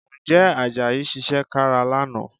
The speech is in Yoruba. Ǹjẹ́ Àjàyí ṣiṣẹ́ kára lánàá?